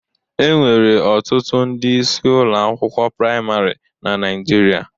Enwere ọtụtụ ndị isi ụlọ akwụkwọ praịmarị na Naịjirịa